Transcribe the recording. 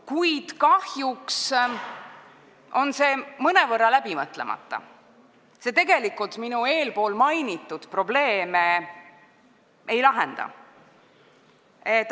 Kuid kahjuks on see mõnevõrra läbimõtlemata eelnõu, mis tegelikult ei lahenda probleeme, mida ma eespool mainisin.